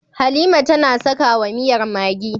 Halima tAna saka wa miyar maggi